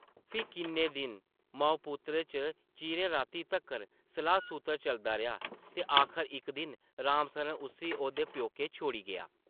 फ्ही किन्ने दिन माऊ-पुत्तरा च चिरें रातीं तक्कर सलाह्-सूतर चलदा रेहा ते आखर इक दिन राम सरन उस्सी ओह्दे प्योकै छोड़ी गेआ ।